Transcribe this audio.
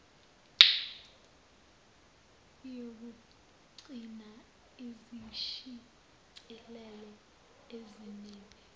yokuqgcinaa izishicilelo ezinemi